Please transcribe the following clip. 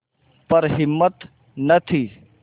पर हिम्मत न थी